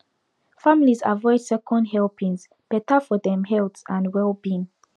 families avoid second helpings better for dem health and wellbeing